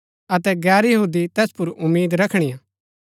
अतै गैर यहूदी तैस पुर उम्मीद रखणीआ